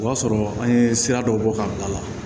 O y'a sɔrɔ an ye sira dɔ bɔ ka bila a la